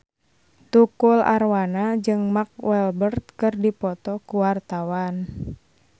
Tukul Arwana jeung Mark Walberg keur dipoto ku wartawan